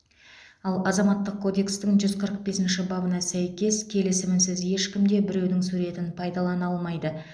ал азаматтық кодекстің жүз қырық бесінші бабына сәйкес келісімінсіз ешкім де біреудің суретін пайдалана алмайды